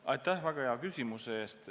Aitäh väga hea küsimuse eest!